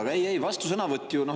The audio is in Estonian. Aga ei-ei, vastusõnavõtt ju …